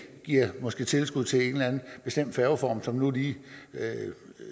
måske giver tilskud til en eller anden bestemt færgeform som nu lige